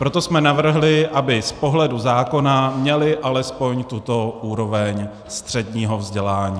Proto jsme navrhli, aby z pohledu zákona měli alespoň tuto úroveň středního vzdělání.